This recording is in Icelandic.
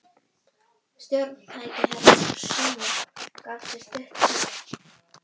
Stjórntæki Herra Toshizo gaf frá sér stutt píp.